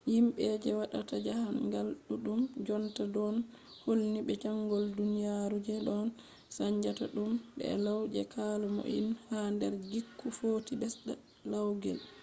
yimɓe je waɗata jaahangal ɗuɗɗum jonta ɗon hilni be sanjol duniyaru je ɗon saanja tum e law je kala mo'inol ha nder gikku footi ɓesda laugel